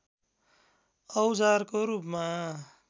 औजारको रूपमा